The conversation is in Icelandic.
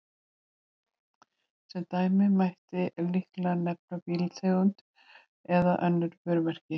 Sem dæmi mætti líklega nefna bílategundir eða önnur vörumerki.